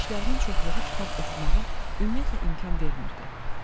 Düzdür, işlərimin çoxluğu kitab oxumağa ümumiyyətlə imkan vermirdi.